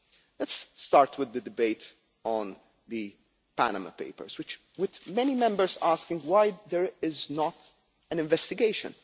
Let's start with the debate on the Panama papers, with many Members asking why there is not an investigation.